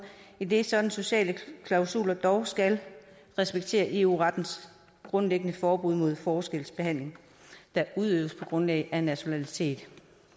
idet sådanne sociale klausuler dog skal respektere eu rettens grundlæggende forbud mod forskelsbehandling der udøves på grundlag af nationalitet